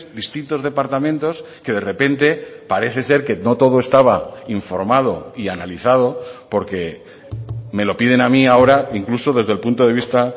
distintos departamentos que de repente parece ser que no todo estaba informado y analizado porque me lo piden a mí ahora incluso desde el punto de vista